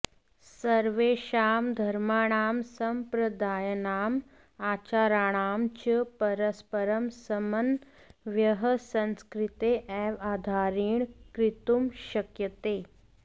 सर्वेषां धर्माणां सम्प्रदायानाम् आचाराणां च परस्परं समन्वयः संस्कृतेः एव आधारेण कर्तुं शक्यते